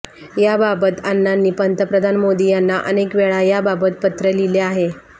याबाबत अण्णांनी पंतप्रधान मोदी यांना अनेक वेळा याबाबत पत्र लिहले आहे